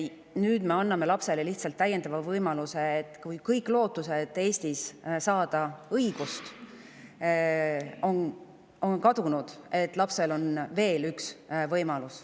Nüüd me anname lapsele lihtsalt täiendava võimaluse, et kui kõik lootused Eestis õigust saada on kadunud, siis on lapsel veel üks võimalus.